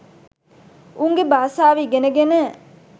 උන්ගේ බාසාව ඉගෙන ගෙන